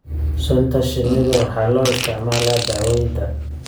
sunta shinnida waxaa loo isticmaalaa daawaynta.